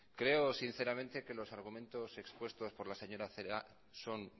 creo sinceramente que los argumentos expuestos por la señora celaá son